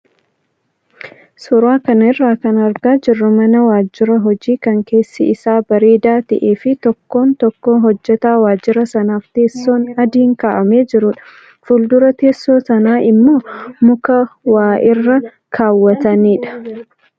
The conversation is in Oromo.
Suuraa kanarraa kan argaa jirru mana waajjira hojii kan keessi isaa bareedaa ta'ee fi tokkoon tokkoo hojjataa waajjira sanaaf teessoon adiin kaa'amee jirudha. Fuuldura teessoo sanaa immoo muka waa irra kaawwatanidha.